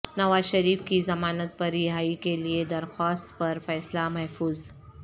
نوازشریف کی ضمانت پر رہائی کیلئےدرخواست پر فیصلہ محفوظ